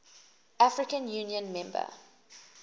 african union member